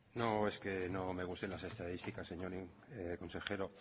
no es que no me gusten las estadísticas señor consejero